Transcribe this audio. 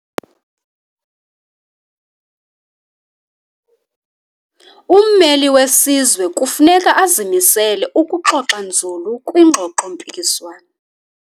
Ummeli wesizwe kufuneka azimisele ukuxoxa nzulu kwiingxoxo-mpikiswano.